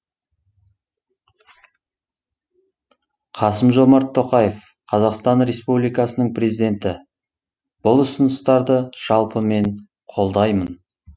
қасым жомарт тоқаев қазақстан республикасының президенті бұл ұсыныстарды жалпы мен қолдаймын